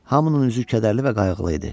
Hamının üzü kədərli və qayğılı idi.